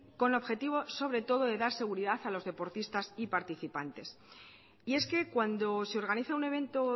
con objetivo sobre todo de dar seguridad a los deportistas y participantes y es que cuando se organiza un evento